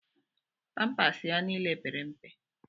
Pampas ya niile pere mpe.